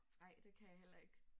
Nej det kan jeg heller ikke